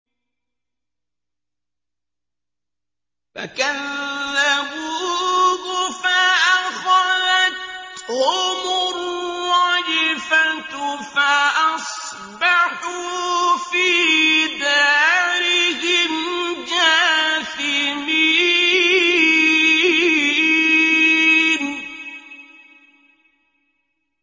فَكَذَّبُوهُ فَأَخَذَتْهُمُ الرَّجْفَةُ فَأَصْبَحُوا فِي دَارِهِمْ جَاثِمِينَ